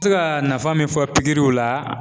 se ka nafa min fɔ la.